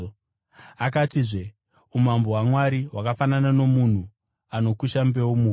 Akatizve, “Umambo hwaMwari hwakafanana nomunhu anokusha mbeu muvhu.